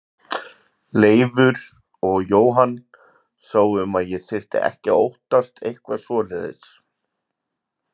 Leifur og Jóhann sáu um að ég þyrfti ekki að óttast eitthvað svoleiðis.